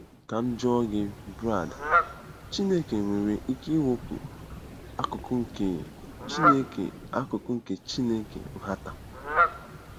Ka m jụọ gị, Brad, Chineke nwere ike ịwụpụ akụkụ nke Chineke akụkụ nke Chineke nhata?